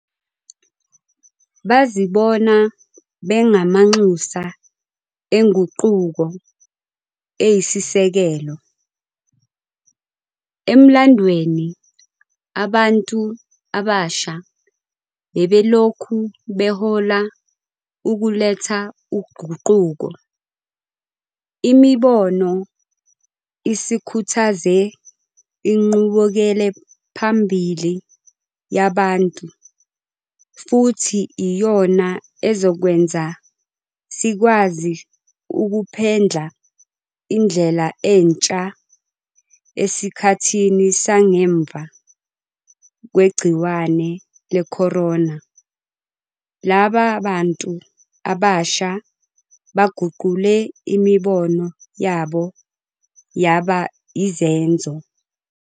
Bazibona bengamanxusa enguquko eyisisekelo. Emlandweni abantu abasha bebelokhu behola ukuletha uguquko. Imibono isikhuthaze inqubekelaphambili yabantu futhi iyona ezokwenza sikwazi ukuphendla indlela entsha esikhathini sangemva kwegciwane le-corona. Laba bantu abasha baguqule imibono yabo yaba izenzo.